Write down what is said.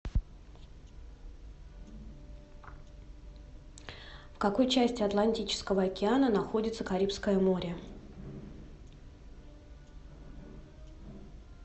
в какой части атлантического океана находится карибское море